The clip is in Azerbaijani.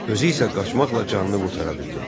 Özü isə qaçmaqla canını qurtara bildi.